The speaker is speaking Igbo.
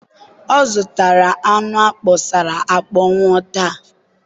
ọ zụtara anụ akpọsara akpọnwụ taa.